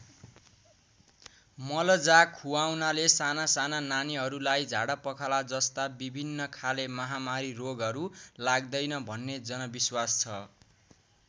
मल जा खुवाउनाले सानासाना नानीहरूलाई झाडापखालाजस्ता विभिन्न खाले महामारी रोगहरू लाग्दैन भन्ने जनविश्वास छ।